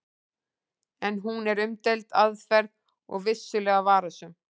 En hún er umdeild aðferð og vissulega varasöm.